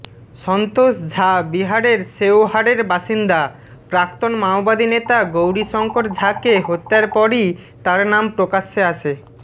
সন্তোষ ঝা বিহারের শেওহারের বাসিন্দা প্রাক্তন মাওবাদী নেতা গৌরীশঙ্কর ঝাকে হত্যার পরই তার নাম প্রকাশ্যে আসে